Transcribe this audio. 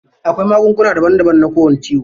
Akwai magunguna daban daban na kowani ciyo.